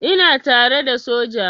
Ina tare da soja.